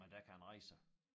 Men der kan den rejse sig